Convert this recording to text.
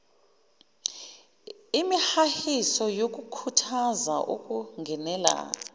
imihahiso yokukhuthaza ukungenela